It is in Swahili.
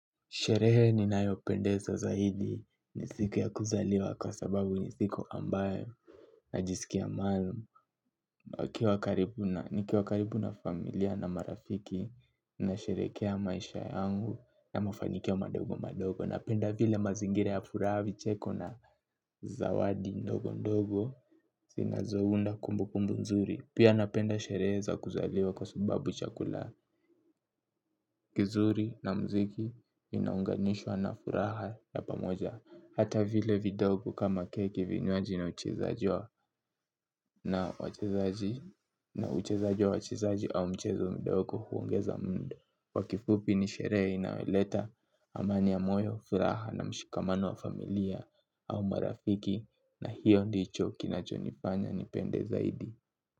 Sherehe ninayo pendeza zahidi ni siku ya kuzaliwa, kwa sababu ni siku ambayo, najisikia maalumu, niki karibu na familia na marafiki, nasherekea maisha yangu ya mafanyikia madogo madogo napenda vile mazingira ya furaha vicheko na zawadi ndogo ndogo, zinazounda kumbukumbu nzuri pia napenda sherehe za kuzaliwa kwa sababu chakula, kizuri na mziki inaunganishwa na furaha ya pamoja. Hata vile vidogo kama keki vinywaji na uchezaji wa na uchezaji wachezaji au mchezo mdogo huongeza mood. Kwa kifupi ni sherehe inaweleta amani ya moyo, furaha na mshikamano wa familia au marafiki, na hiyo ndicho kinacho nifanya nipende zaidi.